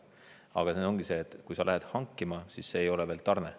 Aga siin ongi see, et kui sa lähed hankima, siis see ei ole veel tarne.